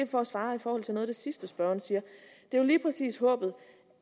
for at svare på noget af det sidste spørgeren siger det er jo lige præcis håbet